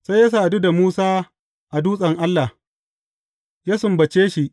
Sai ya sadu da Musa a dutsen Allah, ya sumbace shi.